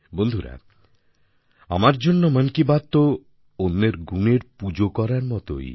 বন্ধুরা আমার জন্য মন কি বাত তো অন্যের গুণের পূজো করার মতই